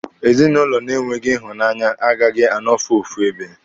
Ezinụlọ na-enweghị ịhụnanya agaghị anọfu ofu ebe.